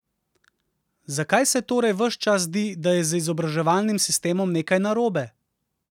Zakaj se torej ves čas zdi, da je z izobraževalnim sistemom nekaj narobe?